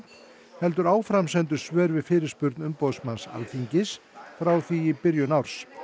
heldur áframsendu svör við fyrirspurn umboðsmanns Alþingis frá því í byrjun árs